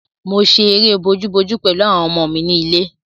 Mo ṣe eré bojú-bojú pẹ̀lú àwọn ọmọ mi ni ilé.